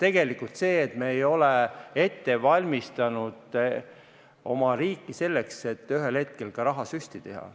See on see, et me ei ole oma riiki ette valmistanud selleks, et ühel hetkel rahasüsti teha.